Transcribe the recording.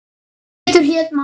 Pétur hét maður.